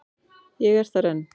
Ég er þar enn.